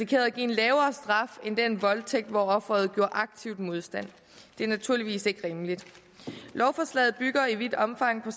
gav en lavere straf end den voldtægt hvor offeret gjorde aktiv modstand det er naturligvis ikke rimeligt lovforslaget bygger i vidt omfang